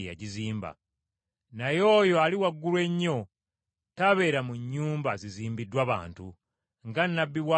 “Naye oyo Ali Waggulu Ennyo tabeera mu nnyumba zizimbiddwa bantu. Nga nnabbi bw’agamba nti,